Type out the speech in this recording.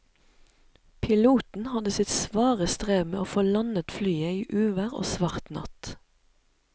Piloten hadde sitt svare strev med å få landet flyet i uvær og svart natt.